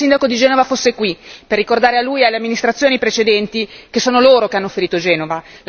Vorrei che il sindaco di Genova fosse qui per ricordare a lui e alle amministrazioni precedenti, che sono loro che hanno ferito Genova.